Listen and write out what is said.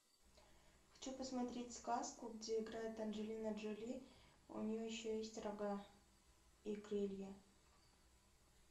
хочу посмотреть сказку где играет анджелина джоли у нее еще есть рога и крылья